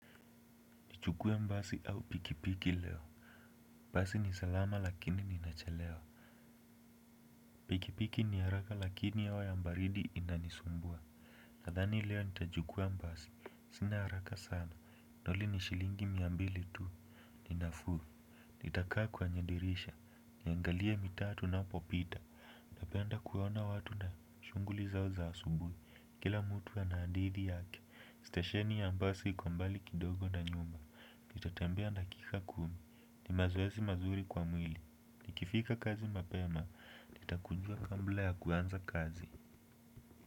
Nichukue basi au pikipiki leo. Basi ni salama lakini nitachelewa. Pikipiki ni haraka lakini hewa ya baridi itanisumbua. Nadhani leo nitajukua mbasi. Sina haraka sana. Pikipiki ni haraka lakini hewa ya baridi itanisumbua. Ninafuu. Nitakaa kwenye dirisha. Niangalia mitatu na popita. Tapenda kuwana watu na shunguli zao za asubui. Kila mutu ya naadithi yake. Stasheni ya mbasi kwa mbali kidogo na nyumba. Kitatembea na kika kumi. Ni mazoesi mazuri kwa mwili. Ni kifika kazi mapema. Ni takunjua kambla ya kuanza kazi.